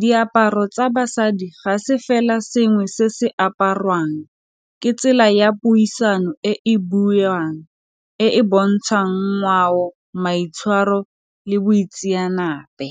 diaparo tsa basadi ga se fela sengwe se se apariwang ke tsela ya puisano e e buiwang e e bontshang ngwao, maitshwaro le boitseanape.